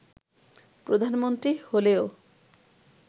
প্রধানমন্ত্রী হলেও